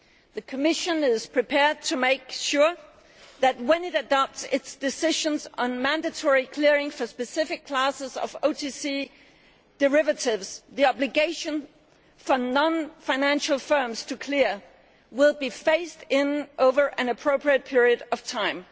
The Commission is prepared to make sure that, when it adopts its decisions on mandatory clearing for specific classes of OTC derivatives, the obligation for non financial firms to clear will be phased in over an appropriate period of time.